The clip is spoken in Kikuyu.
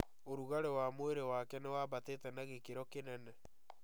ũrugarĩ wa mwĩrĩ wake nĩwambatĩte na gĩkĩro kĩnene